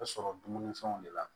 A sɔrɔ dumunifɛnw de la